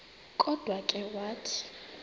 kodwa ke wathi